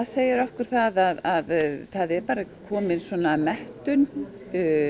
segir okkur að það er komin mettun